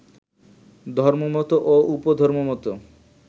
ধর্মমত ও উপধর্মমত